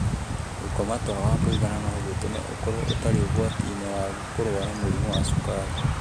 Gũkoma toro wa kũigana no gũtũme ũkorũo ũtarĩ ũgwati-inĩ wa kũrũara mũrimũ wa cukari.